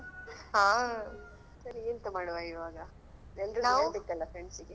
ಹಾ ಸರಿ ಎಂತ ಮಾಡುವ ಇವಾಗ ಎಲ್ರುಗೆ ಹೇಳ್ಬೇಕಲ್ಲಾ friends ಗೆ.